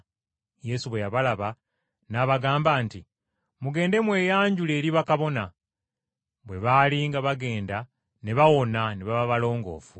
Yesu bwe yabalaba n’abagamba nti, “Mugende mweyanjule eri bakabona.” Bwe baali nga bagenda ne bawona ne baba balongoofu.